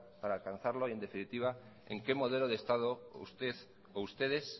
para alcanzarlo y en definitiva en qué modelo de estado usted o ustedes